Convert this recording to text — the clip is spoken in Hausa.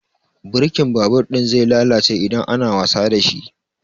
Birkin babur ɗin zai lalace idan ana wasa dashi